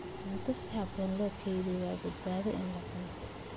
Cuntada si habboon loo kaydiyo waa badbaado in la cuno.